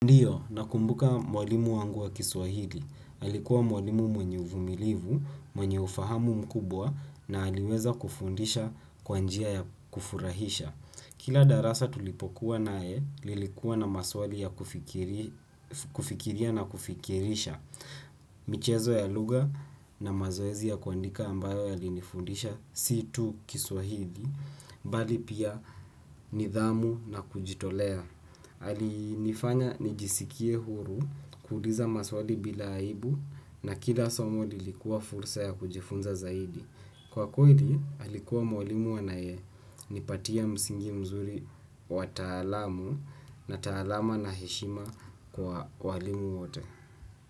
Ndiyo na kumbuka mwalimu wangu wa kiswahili. Alikuwa mwalimu mwenye uvumilivu, mwenye ufahamu mkubwa na aliweza kufundisha kwanjia ya kufurahisha. Kila darasa tulipokuwa nae lilikuwa na maswali ya kufikiria na kufikirisha. Michezo ya lugha na mazoezi ya kuandika ambayo ya linifundishasitu kiswahili. Bali pia nidhamu na kujitolea. Alinifanya nijisikie huru kuuliza maswali bila aibu na kila somoli likuwa fursa ya kujifunza zaidi. Kwa kweli alikuwa mwalimu anaye nipatia msingi mzuri wa taalamu na taalama na heshima kwa walimu wote.